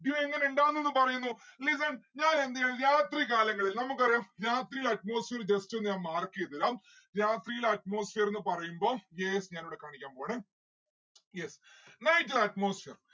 dew എങ്ങനെ ഇണ്ടാവും എന്ന് പറയുന്നു നിങ്ങൾ ഞാൻ എന്ത് രാത്രി കാലങ്ങളിൽ നമുക്കറിയാം രാത്രിയില് atmosphere just ഒന്ന് ഞാൻ mark എയ്‌തരാം രാത്രിയിൽ atmosphere ന്ന്‌ പറയുമ്പം yes ഞാൻ ഇവിടെ കാണിക്കാൻ പോവാണ് yes. night atmosphere